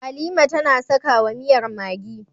Halima tAna saka wa miyar maggi